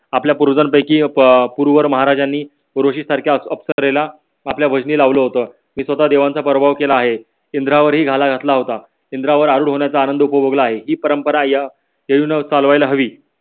आपल्या पूर्वजनपैकी पुरवर महाराजांनी ऋषि सारख्या अप्सरेला आपल्या वजनी लावल होत. ती स्वता देवांचा पराभव केला आहे. इंद्रावरी घावा घातला होता. इंद्रावर आरुढ होण्याचा आनंद उपभोगला आहे ही परंपरा चालवायला हवी.